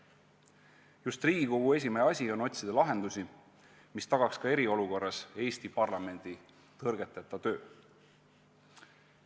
Just Riigikogu esimehe asi on otsida lahendusi, mis tagaks ka eriolukorras Eesti parlamendi tõrgeteta töö.